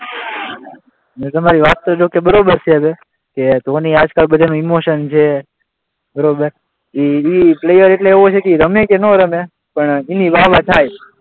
તમારી વાત જો કે બરાબર છે હવે કે ધોની આજ કાલ બધામાં ઇમોશન છે બરાબર, એ પ્લેયર એટલે એવો છે કે એ રમે કે ના રમે પણ એની વાહ વાહ થાય.